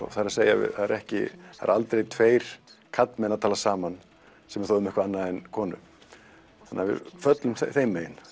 það er ekki það eru aldrei tveir karlmenn að tala saman sem er þá um eitthvað annað en konu þannig að við föllum þeim megin